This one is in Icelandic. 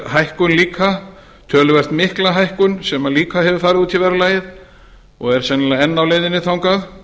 hækkun líka töluvert mikla hækka sem líka hefur farið út í verðlagið og er sennilega enn á leiðinni þangað